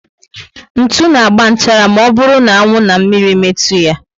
Ntụ na agba nchara ma ọ bụrụ na anwụ na mmírí metu ya